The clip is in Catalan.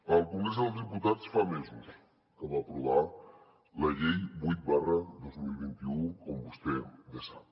el congrés dels diputats fa mesos que va aprovar la llei vuit dos mil vint u com vostè bé sap